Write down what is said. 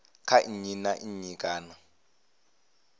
kha nnyi kana nnyi kana